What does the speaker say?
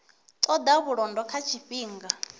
ṱo ḓa vhulondo ha tshifhinga